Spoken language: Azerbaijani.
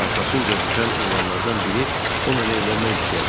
Arxasınca düşən oğlanlardan biri onla evlənmək istəyə bilər.